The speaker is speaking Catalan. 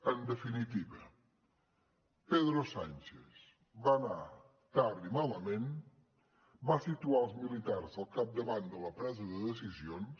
en definitiva pedro sánchez va anar tard i malament va situar els militars al capdavant de la presa de decisions